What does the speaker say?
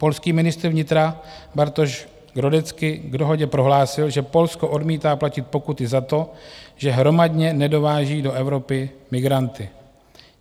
Polský ministr vnitra Bartosz Grodecki k dohodě prohlásil, že Polsko odmítá platit pokuty za to, že hromadně nedováží do Evropy migranty.